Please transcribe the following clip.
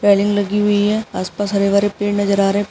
Railing लगी हुई है। आस पास हरे भरे पेड़ नजर आ रहे --